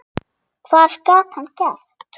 Hvað gat hann gert?